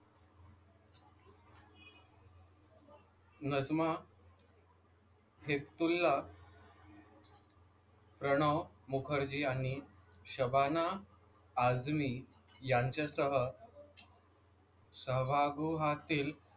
नजमा हेपतुल्ला, प्रणव मुखर्जी आणि शबाना आझमी यांच्यासह सभागृहातील,